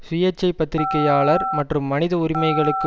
சுயேட்சை பத்திரிகையாளர் மற்றும் மனித உரிமைகளுக்கு